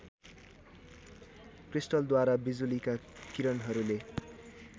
क्रिस्टलद्वारा बिजुलीका किरणहरूले